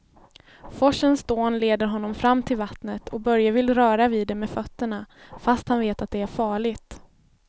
Forsens dån leder honom fram till vattnet och Börje vill röra vid det med fötterna, fast han vet att det är farligt.